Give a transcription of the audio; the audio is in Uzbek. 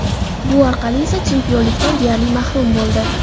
Bu orqali esa chempionlikdan deyarli mahrum bo‘ldi.